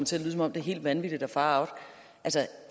til at lyde som om det er helt vanvittigt og far out